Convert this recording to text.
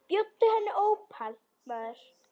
Bjóddu henni ópal, maður.